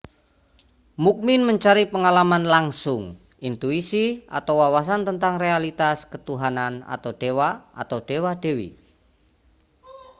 mukmin mencari pengalaman langsung intuisi atau wawasan tentang realitas ketuhanan/dewa atau dewa-dewi